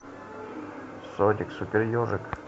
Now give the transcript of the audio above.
соник супер ежик